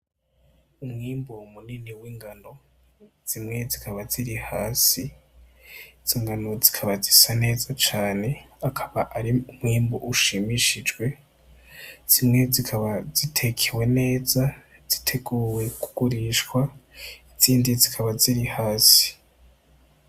Umwimbu munini w'ingano zimwe zikaba ziri hasi izo ngano zikaba zisa neza cane akaba ari umwimbu ushimishijwe zimwe zikaba zitekewe neza ziteguwe kugurishwa izindi zikaba ziri hasi.